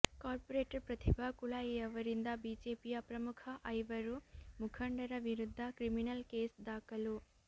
corporate Pratibha ಕುಳಾಯಿಯವರಿಂದ ಬಿಜೆಪಿಯ ಪ್ರಮುಖ ಐವರು ಮುಖಂಡರ ವಿರುದ್ಧ ಕ್ರಿಮಿನಲ್ ಕೇಸ್ ದಾಖಲು